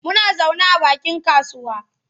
Muna zaune a bakin kasuwa.